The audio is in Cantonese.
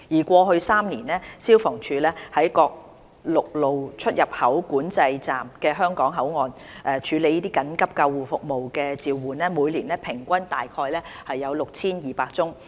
過去3年，消防處在各陸路出入境管制站的香港口岸處理的緊急救護服務召喚，每年平均約有 6,200 宗。